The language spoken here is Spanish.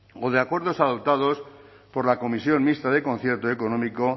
o de acuerdos adoptados por la comisión mixta del concierto económico